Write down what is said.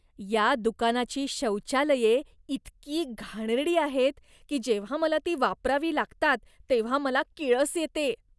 या दुकानाची शौचालये इतकी घाणेरडी आहेत की जेव्हा मला ती वापरावी लागतात तेव्हा मला किळस येते.